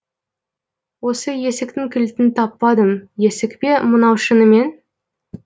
осы есіктің кілтін таппадым есік пе мынау шынымен